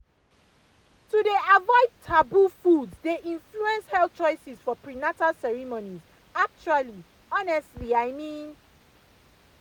to dey avoid taboo foods dey influence health choices for prenatal ceremonies actually honestly i mean.